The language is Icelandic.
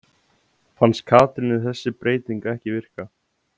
Fannst Katrínu þessi breyting ekki virka?